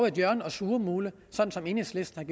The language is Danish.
et hjørne og surmule sådan som enhedslisten